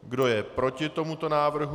Kdo je proti tomuto návrhu?